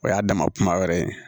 O y'a dama kuma wɛrɛ ye